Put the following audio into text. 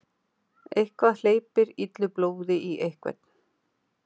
Eitthvað hleypir illu blóði í einhvern